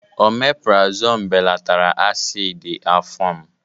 Omepurazonu belatara asidi afọ m.